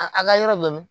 A a ka yɔrɔ dɔn